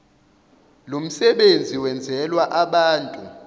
lomsebenzi wenzelwe abantu